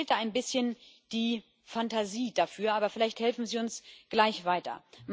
Mir fehlt da ein bisschen die Fantasie dafür, aber vielleicht helfen Sie uns gleich weiter.